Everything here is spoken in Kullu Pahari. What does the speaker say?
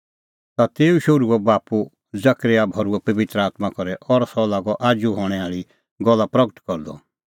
ता तेऊ शोहरूओ बाप्पू जकरयाह भर्हुअ पबित्र आत्मां करै और सह लागअ आजू हणैं आल़ी गल्ला प्रगट करदअ